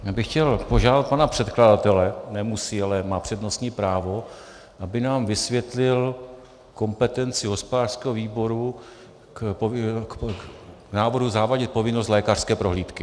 Já bych chtěl požádat pana předkladatele - nemusí, ale má přednostní právo -, aby nám vysvětlil kompetenci hospodářského výboru k návrhu zavádět povinnost lékařské prohlídky.